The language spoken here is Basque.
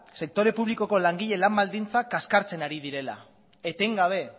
sektore publikoko langileen lan baldintzak kaskartzen ari direla etengabe